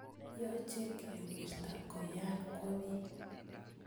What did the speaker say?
Yoche kewirta koyan kwo bii